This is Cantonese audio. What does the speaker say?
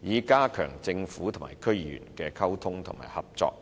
以加強政府與區議員的溝通和合作。